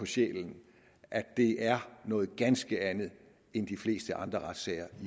sjælen at de er noget ganske andet end de fleste andre sager